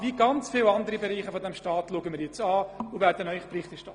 Deshalb haben wir zu den Postulaten ja gesagt.